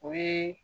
O ye